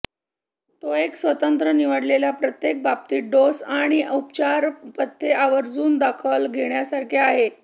तो एक स्वतंत्र निवडलेल्या प्रत्येक बाबतीत डोस आणि उपचार पथ्ये आवर्जून दखल घेण्यासारखे आहे